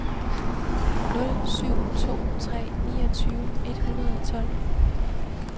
nul syv to tre niogtyve et hundrede og tolv